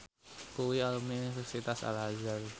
kuwi alumni Universitas Al Azhar